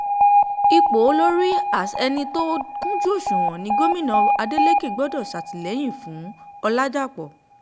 ipò olórí as é̩ni tó bá kúnjú òṣùwò̩n ni gómìnà adelèké gbò̩dó̩ sàtìlẹyìn fún- ọ̀làdàpọ̀